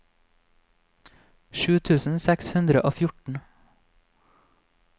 sju tusen seks hundre og fjorten